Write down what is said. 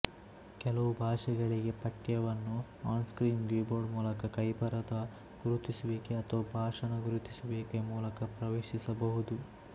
ಕೆಲವು ಭಾಷೆಗಳಿಗೆ ಪಠ್ಯವನ್ನು ಆನ್ಸ್ಕ್ರೀನ್ ಕೀಬೋರ್ಡ್ ಮೂಲಕ ಕೈಬರಹದ ಗುರುತಿಸುವಿಕೆ ಅಥವಾ ಭಾಷಣ ಗುರುತಿಸುವಿಕೆ ಮೂಲಕ ಪ್ರವೇಶಿಸಬಹುದು